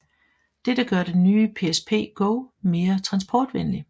Dette gør den nye PSP Go mere transportvenlig